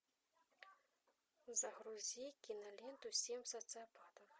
загрузи киноленту семь социопатов